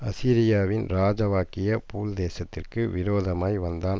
அசீரியாவின் ராஜாவாகிய பூல் தேசத்திற்கு விரோதமாய் வந்தான்